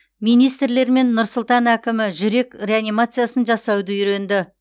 министрлер мен нұр сұлтан әкімі жүрек реанимациясын жасауды үйренді